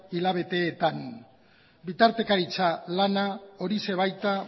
hilabeteetan bitartekaritza lana horixe baita